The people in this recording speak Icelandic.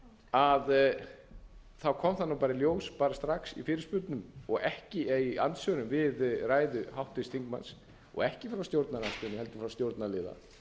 þá kom það bara í ljós bara strax í andsvörum við ræðu háttvirts þingmanns og ekki frá stjórnarandstöðunni heldur frá stjórnarliða